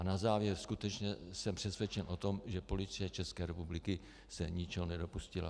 A na závěr: Skutečně jsem přesvědčen o tom, že Policie České republiky se ničeho nedopustila.